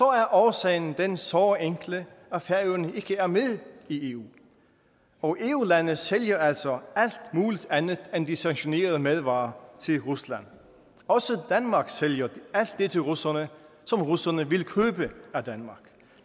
er årsagen den såre enkle at færøerne ikke er med i eu og eu lande sælger altså alt muligt andet end de sanktionerede madvarer til rusland også danmark sælger alt det til russerne som russerne vil købe af danmark